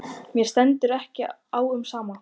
Mér stendur ekki á sama um þig.